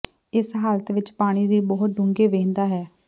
ਇਸ ਹਾਲਤ ਵਿੱਚ ਪਾਣੀ ਦੀ ਬਹੁਤ ਡੂੰਘੇ ਵਹਿੰਦਾ ਹੈ